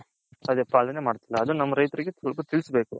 ಅದೇ ಪಾಲನೆ ಮಾಡ್ತೈಲ್ಲ ಅದು ನಮ್ಮ ರೈಥರ್ಗೆ ಸ್ವಲ್ಪ ತಿಳಿಸಬೇಕು